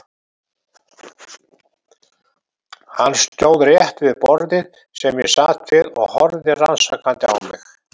Hann stóð rétt við borðið sem ég sat við og horfði rannsakandi á mig.